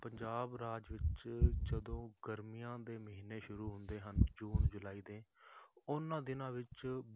ਪੰਜਾਬ ਰਾਜ ਵਿੱਚ ਜਦੋਂ ਗਰਮੀਆਂ ਦੇ ਮਹੀਨੇ ਸ਼ੁਰੂ ਹੁੰਦੇ ਹਨ ਜੂਨ ਜੁਲਾਈ ਦੇ, ਉਹਨਾਂ ਦਿਨਾਂ ਵਿੱਚ